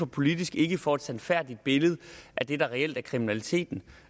politikere ikke får et sandfærdigt billede af det der reelt er kriminaliteten